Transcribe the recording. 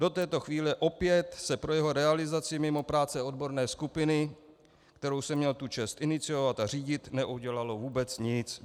Do této chvíle opět se pro jeho realizaci mimo práce odborné skupiny, kterou jsem měl tu čest iniciovat a řídit, neudělalo vůbec nic.